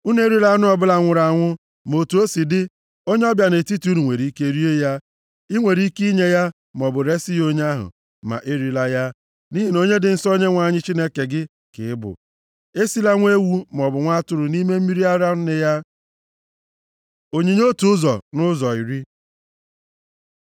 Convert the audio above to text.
Unu erila anụ ọbụla nwụrụ anwụ. Ma otu o si dị, onye ọbịa nʼetiti unu nwere ike rie ya. I nwere ike inye ya, maọbụ resi ya onye ahụ, ma erila ya, nʼihi na onye dị nsọ nye Onyenwe anyị Chineke gị ka ị bụ. Esila nwa ewu maọbụ nwa atụrụ nʼime mmiri ara nne ya. Onyinye otu ụzọ nʼụzọ iri